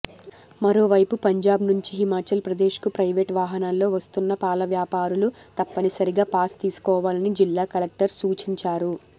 మరోవైపు పంజాబ్ నుంచి హిమాచల్ ప్రదేశ్కు ప్రైవేట్ వాహనాల్లో వస్తున్న పాలవ్యాపారులు తప్పనిసరిగా పాస్ తీసుకోవాలని జిల్లా కలెక్టర్ సూచించారు